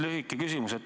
Lühike küsimus.